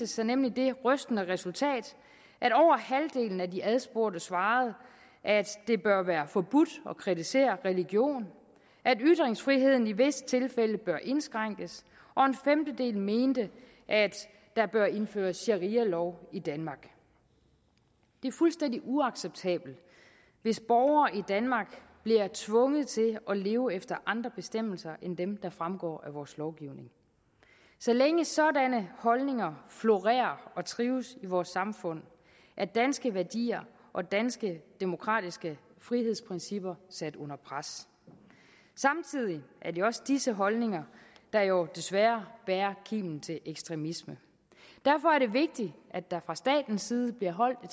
sig nemlig det rystende resultat at af de adspurgte svarede at det bør være forbudt at kritisere religion at ytringsfriheden i visse tilfælde bør indskrænkes og en femtedel mente at der bør indføres sharialov i danmark det er fuldstændig uacceptabelt hvis borgere i danmark bliver tvunget til at leve efter andre bestemmelser end dem der fremgår af vores lovgivning så længe sådanne holdninger florerer og trives i vores samfund er danske værdier og danske demokratiske frihedsprincipper sat under pres samtidig er det også disse holdninger der jo desværre bærer kimen til ekstremisme derfor er det vigtigt at der fra statens side bliver holdt